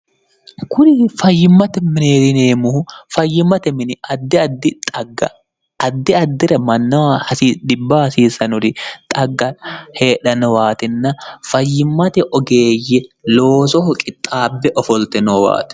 kuri fayyimmate mineerineemmuhu fayyimmate mini ddi ddixgaddi addira mannawa hasidhibbahasiisanori xagga heedha nowaatinna fayyimmate ogeeyye loosoho qixxaabbe ofolte noowaate